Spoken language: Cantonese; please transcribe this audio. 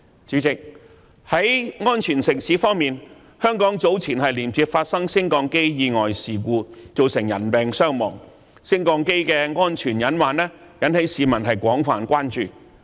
主席，在安全城市方面，香港早前接連發生升降機意外事故，造成人命傷亡，升降機的安全隱患引起市民的廣泛關注。